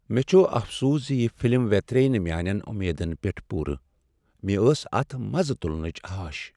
مےٚ چھٗ افسوس ز یہ فلم وٗترییہ نہٕ میانین امیدن پیٹھ پوُرٕ۔ مےٚ ٲس اتھ مزٕ تٗلنٕچ آش ۔